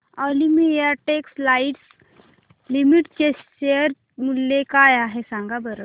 Olympia textiles limited चे share मूल्य काय आहे सांगा बरं